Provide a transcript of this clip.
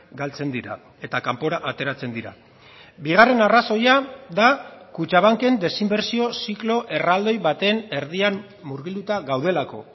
galtzen dira eta kanpora ateratzen dira bigarren arrazoia da kutxabanken desinbertsio ziklo erraldoi baten erdian murgilduta gaudelako